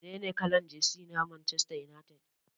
Menene kalar jesi ta Manchester United?